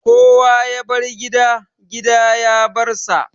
Kowa ya bar gida, gida ya bar sa